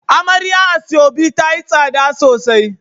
Amarya asoebi tayi tsada sosai